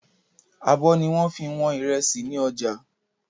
Àbọ̀ ni wọ́n fi wọn ìrẹsì ni ọjà.